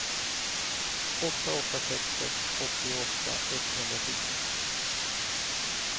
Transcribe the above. åtta åtta sex sex åttioåtta etthundrafjorton